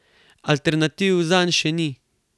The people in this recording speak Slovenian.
Alternativ zanj še ni.